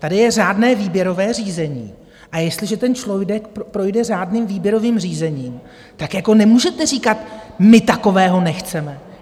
Tady je řádné výběrové řízení, a jestliže ten člověk projde řádným výběrovým řízením, tak nemůžete říkat my takového nechceme.